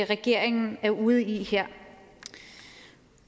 regeringen er ude i her